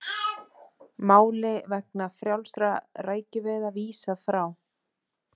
Máli vegna frjálsra rækjuveiða vísað frá